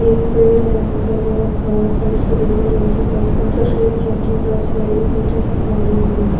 एक पेड़ है ऊपर बड़ा सा एक फिरोज़ी रंग की बस है सफ़ेद रंग की बस है एक सी गाड़ी भी है।